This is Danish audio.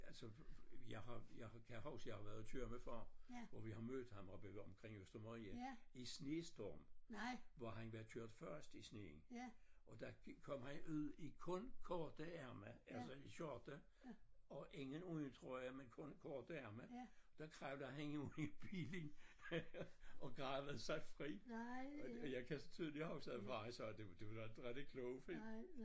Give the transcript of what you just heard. Altså jeg har jeg kan huske jeg har været tur med far hvor vi har mødt ham oppe omkring Øster Marie i snestorm hvor han var kørt fast i sneen og der kom han ud i kun korte ærmer altså i skjorte og ingen uldtrøje men kun korte ærmer der kravlede han ud i bilen og gravede sig fri og jeg kan tydeligt huske at far sagde du du er da inte rigtig klog Finn